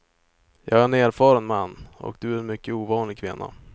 Jag är en erfaren man, och du är en mycket ovanlig kvinna.